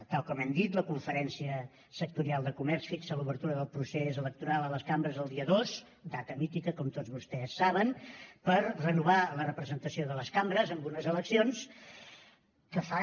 tal com hem dit la conferència sectorial de comerç fixa l’obertura del procés electoral a les cambres el dia dos data mítica com tots vostès saben per renovar la representació de les cambres amb unes eleccions que fa